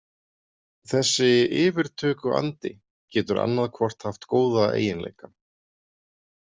Þessi „yfirtökuandi“ getur annað hvort haft góða eiginleika.